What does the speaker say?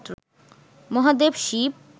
Mahadev Shiva